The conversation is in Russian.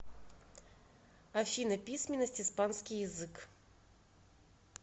афина письменность испанский язык